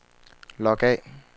log af